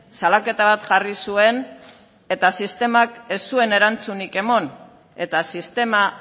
salaketa bat jarri zuen eta sistemak ez zuen erantzunik eman eta sistema